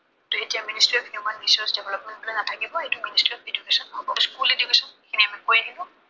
সেইটো এতিয়া Ministry of Human Resource Development হৈ নাথাকিব, সেইটো Ministry of Education হব। School Education সেইখিনি কৰি দিব।